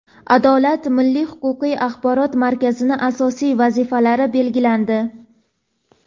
"Adolat" milliy huquqiy axborot markazining asosiy vazifalari belgilandi.